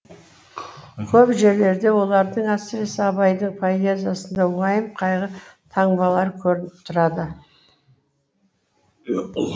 көп жерлерде олардың әсіресе абайдың поэзиясында уайым қайғы таңбалары көрініп тұрады